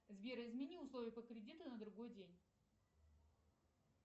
сбер измени условия по кредиту на другой день